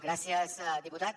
gràcies diputat